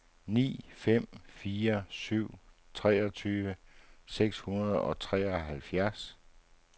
ni fem fire syv treogtyve seks hundrede og treoghalvfjerds